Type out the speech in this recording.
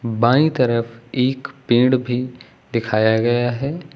बाईं तरफ एक पेड़ भी दिखाया गया है।